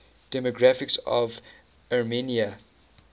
demographics of armenia